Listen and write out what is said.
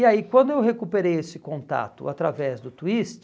E aí quando eu recuperei esse contato através do Twist,